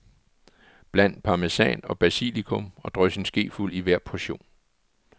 Bland parmesan og basilikum og drys en skefuld i hver portion.